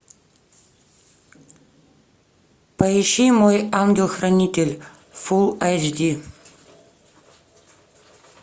поищи мой ангел хранитель фул эйч ди